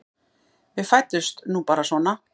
Við fæddumst nú bara svona.